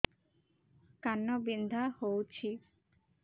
କାନ ବିନ୍ଧା ହଉଛି